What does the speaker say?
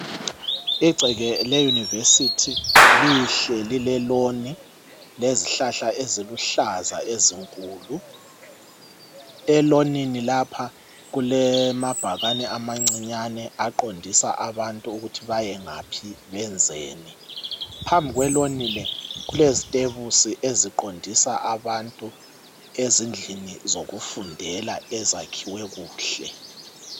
Igceke leyunivesithi lihle lileloni lezihlahla eziluhlaza ezinkulu. Elonini lapha kulamabhakani amancinyane aqondisa abantu ukuthi bayengaphi benzeni. Phambili kweloni le kulezitebusi eziqondisa abantu ezindlini zokufundela ezakhiwe kuhle.